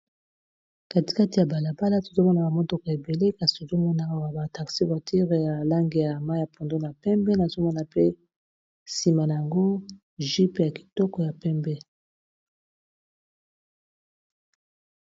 katikati ya balabala tozomona ba motoko ebele kasi tozomonaka ba ba taxi vortire ya alange ya ma ya pondo na pembe nazomona pe nsima na yango gupe ya kitoko ya pembe